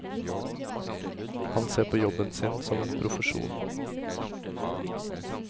Han ser på jobben sin som en profesjon.